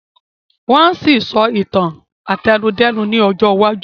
Wọ́n á ṣì sọ Ìtàn àtẹnudẹ́nu ní ọjọ́ iwájú